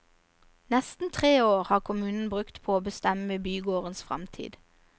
Nesten tre år har kommunen brukt på å bestemme bygårdens fremtid.